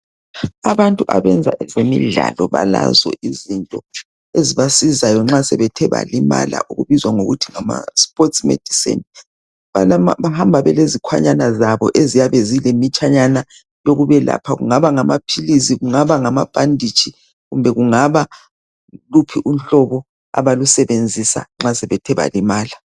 Abantu abenza ezemidlalo balazo izinto ezibasizayo nxa sebethe balimala okubizwa ngokuthi ngama sipotsi mediseni bahamba belezikhwanyana zabo eziyabe zilemitshanyana yokubelapha kungaba ngama philisi kungaba ngama bhanditshi kumbe kungaba luphi unhlobo abalusebenzisa nxa sebethe balimala